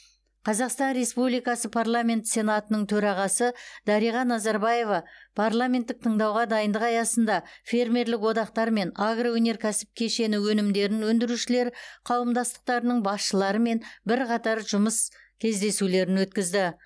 қазақстан республикасы парламент сенатының төрағасы дариға назарбаева парламенттік тыңдауға дайындық аясында фермерлік одақтар мен агроөнеркәсіп кешені өнімдерін өндірушілер қауымдастықтарының басшыларымен бірқатар жұмыс кездесулерін өткізді